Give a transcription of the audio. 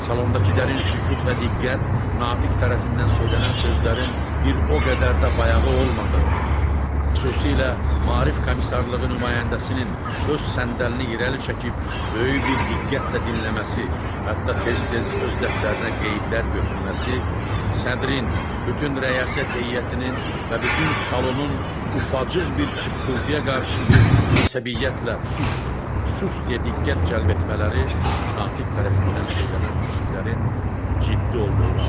Salondakı dərin sükut və diqqət, natiq tərəfindən söylənən sözlərin bir o qədər də bayağı olmadığını, xüsusilə maarif komissarlığı nümayəndəsinin öz səndəlinə irəli çəkib, böyük bir diqqətlə dinləməsi, hətta tez-tez öz dəftərinə qeydlər götürməsi, sədrin, bütün rəyasət heyətinin və bütün salonun ufacıq bir çıqqıltıya qarşı bir əsəbiyyətlə sus, sus deyə diqqət cəlb etmələri natiq tərəfindən söylənən fikirlərin ciddi olduğunu anlatırdı.